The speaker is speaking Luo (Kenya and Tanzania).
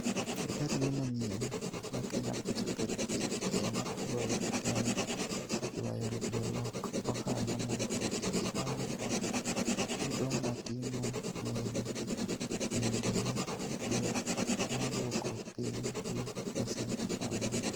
E tarige manyien ma Kenya Ports Authority (KPA) ne ogoyo e temo ywayo jolok ohala mondo oti gi Lamu port, chudo mag ting'o meli bende ne odwok piny gi pasent 40.